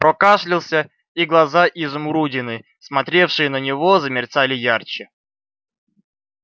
прокашлялся и глаза-изумрудины смотревшие на него замерцали ярче